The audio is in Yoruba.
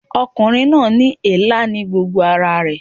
Ọkùnrin náà ní èélá ní gbogbo ara rẹ̀